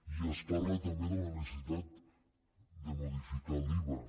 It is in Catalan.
i es parla també de la necessitat de modificar l’iva